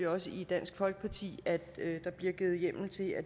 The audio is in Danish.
også i dansk folkeparti at der bliver givet hjemmel til at